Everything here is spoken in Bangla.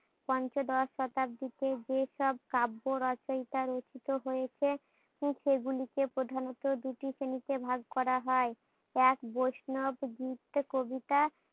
পঞ্চদশ শতাব্দীতে যে সব কাব্য রচয়িতা রচিত হয়েছে সেগুলোকে প্রধানত দুটি শ্রেণীতে ভাগ করা হয়, এক বৈষ্ণৱ গীত ও কবিতা,